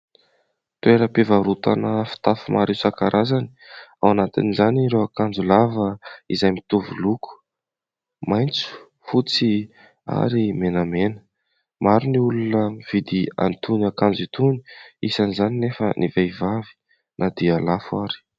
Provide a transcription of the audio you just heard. Toeram-pivarotana fitafy maro isan-karazany, ao anatiny izany ireo akanjo lava izay mitovy loko maitso, fotsy ary menamena. Maro ny olona mividy an'itony akanjo itony isan'izany anefa ny vehivavy na dia lafo ary.